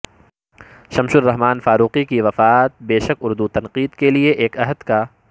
شمس الرحمان فاروقی کی وفات بے شک اردو تنقید کے لیے ایک عہد کا